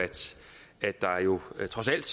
at der trods alt